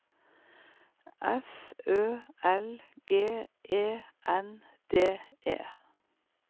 F Ø L G E N D E